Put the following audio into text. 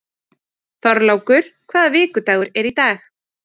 Þorlákur, hvaða vikudagur er í dag?